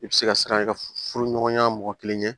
I bɛ se ka siran ka furu ɲɔgɔnya mɔgɔ kelen ye